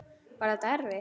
Var þetta erfitt?